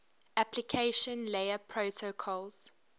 application layer protocols